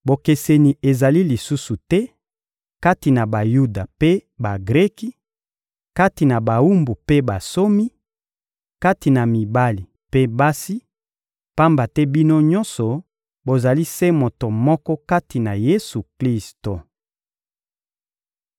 Bokeseni ezali lisusu te kati na Bayuda mpe Bagreki, kati na bawumbu mpe bansomi, kati na mibali mpe basi; pamba te bino nyonso bozali se moto moko kati na Yesu-Klisto.